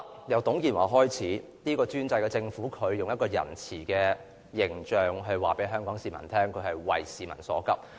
由董建華開始，這個專制的政府以仁慈的形象告知香港市民，它是急市民所急。